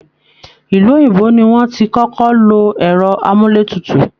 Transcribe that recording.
Ilú òyìnbó ni wọ́n ti kọ́kọ́ lo ẹrọ amúlé tutù